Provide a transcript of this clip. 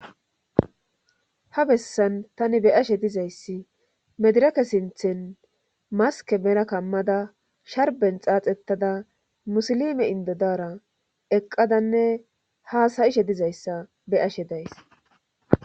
ha bessan tani be ashe dizayssi medirake sinthen maske mera kammada sharben xaaxettada musilime indodara eqqadanne haasayishe dizayssa beashe days